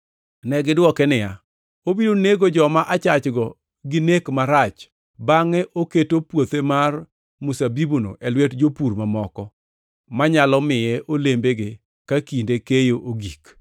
Negidwoke niya, “Obiro nego joma achachgo gi nek marach bangʼe oketo puothe mar mzabibuno e lwet jopur mamoko, manyalo miye olembege, ka kinde keyo ogik.”